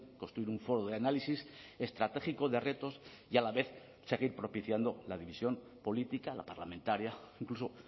construir un foro de análisis estratégico de retos y a la vez seguir propiciando la división política la parlamentaria incluso